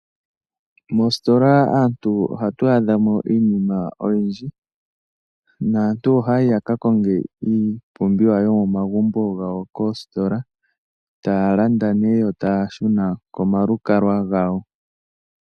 Moositola, aantu ohatu adha mo iinima oyindji, naantu ohaya yi yaka konge iipumbiwa yomomagumbo gawo koositola. Taya landa, yo taya shuna komalukalwa gawo.